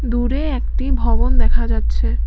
দূরে একটি ভবন দেখা যাচ্ছে।